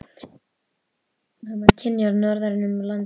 Hann var kynjaður norðan um land.